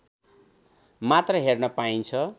मात्र हेर्न पाइन्छ